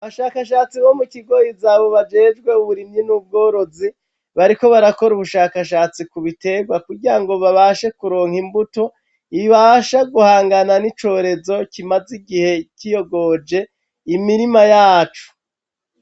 Abashakashatsi bo mu kigoyizabo bajejwe uburimyi n'ubworozi bariko barakora ubushakashatsi ku biterwa kugirango babashe kuronka imbuto ibasha guhangana n'icorezo kimaze igihe kiyogoje imirima yacu.